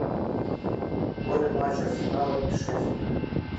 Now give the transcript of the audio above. футбольный матч арсенала и шеффилда